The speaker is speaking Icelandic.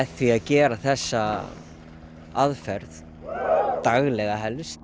því að gera þessa aðferð daglega helst